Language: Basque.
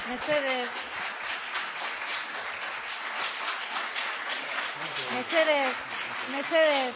mesedez mesedez mesedez